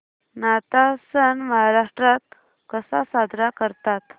नाताळ सण महाराष्ट्रात कसा साजरा करतात